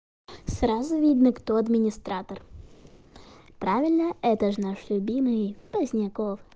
сразу видно кто администратор правильно это же наш любимый поздняков